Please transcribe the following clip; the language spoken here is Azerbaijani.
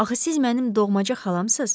Axı siz mənim doğmaca xalamsız?